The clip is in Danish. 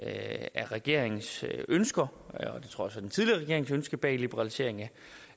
af regeringens ønsker og det tror den tidligere regerings ønske bag liberalisering